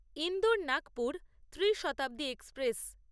Indore Nagpur Trishatabdi express